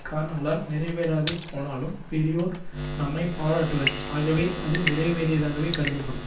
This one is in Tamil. காரணங்களால் நிறைவேறாது போனாலும் பெரியோர் நம்மை பாராட்டுவர் ஆகவே அது நிறைவேறியதாகவே கருதப்படும்